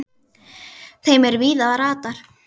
þeim er víða ratar